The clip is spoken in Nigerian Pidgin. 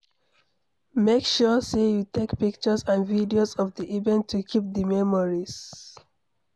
Make sure say you take pictures and videos of the event to keep the memories